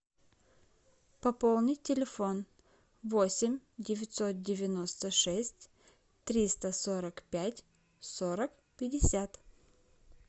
пополнить телефон восемь девятьсот девяносто шесть триста сорок пять сорок пятьдесят